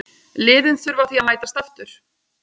Liðin þurfa því að mætast aftur.